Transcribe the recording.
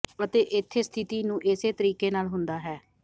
ਅਤੇ ਇੱਥੇ ਸਥਿਤੀ ਨੂੰ ਇਸੇ ਤਰੀਕੇ ਨਾਲ ਹੁੰਦਾ ਹੈ